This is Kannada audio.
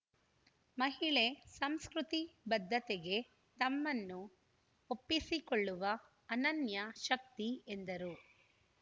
ಮಹಿಳೆ ಸಂಸ್ಕೃತಿ ಬದ್ಧತೆಗೆ ತಮ್ಮನ್ನು ಒಪ್ಪಿಸಿಕೊಳ್ಳುವ ಅನನ್ಯಶಕ್ತಿ ಎಂದರು